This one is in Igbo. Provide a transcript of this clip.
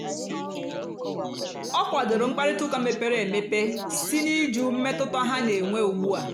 ọ kwàdòrò mkpáịrịtà ụ́ka mepèrè emepè sí n'ị̀jụ́ mmètụ́tà ha na-ènwè ùgbùà.